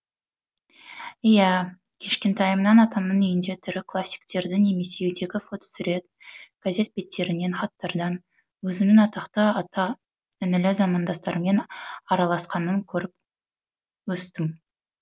иә кішкентайымнан атамның үйінде тірі классиктерді немесе үйдегі фотосурет газет беттерінен хаттардан өзінің атақты аға інілі замандастарымен араласқанын көріп өстім